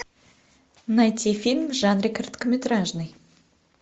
найти фильм в жанре короткометражный